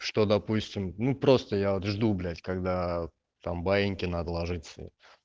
что допустим ну просто я вот жду блять когда там баиньки надо ложиться